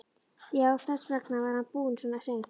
Já, þess vegna var hann búinn svona seint.